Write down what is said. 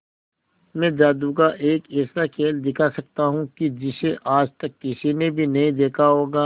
मैं जादू का एक ऐसा खेल दिखा सकता हूं कि जिसे आज तक किसी ने भी नहीं देखा होगा